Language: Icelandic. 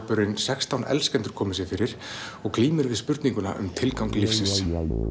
sextán elskendur hafa komið sér fyrir og glíma við spurninguna um tilgang lífsins